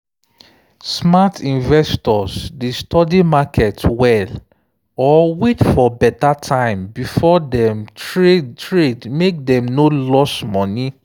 smart investors dey study market well or wait for better time before dem trade make dem no lose money.